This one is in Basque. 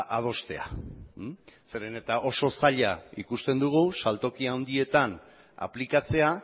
adostea zeren eta oso zaila ikusten dugu saltoki handietan aplikatzea